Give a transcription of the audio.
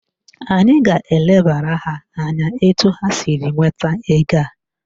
Anyị ga-elebara ha anya etu ha siri nweta ego a